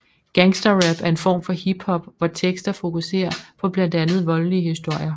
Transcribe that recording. Gangster rap er en form for hiphop hvor tekster fokuserer på blandt andet voldelige historier